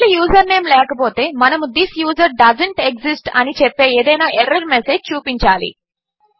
ఒకవేళ యూజర్నేమ్ లేకపోతే మనము థిస్ యూజర్ డోసెంట్ ఎక్సిస్ట్ అని చెప్పే ఏదైనా ఎర్రర్ మెసేజ్ చూపించాలి